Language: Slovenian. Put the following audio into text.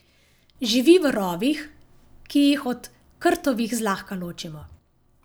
Živi v rovih, ki jih od krtovih zlahka ločimo.